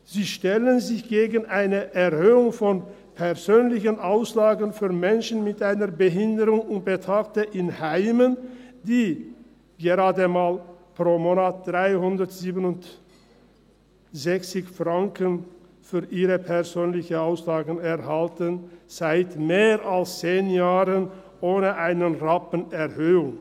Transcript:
Sie stellen sich gegen eine Erhöhung der persönlichen Auslagen für Menschen mit einer Behinderung und Betagte in Heimen, die pro Monat gerade einmal 367 Franken für ihre persönlichen Auslagen erhalten, seit mehr als 10 Jahren ohne einen Rappen Erhöhung.